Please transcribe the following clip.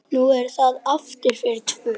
Nú er það aftur fyrir tvo.